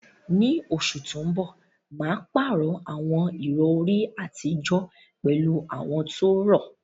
Ní oṣù tó ń bọ̀, mà á pààrọ̀ àwọn ìrọ̀rí àtijọ́ pẹ̀lú àwọn tó rọ̀.